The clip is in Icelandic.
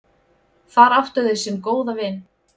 Þar áttu þau sinn góða vin.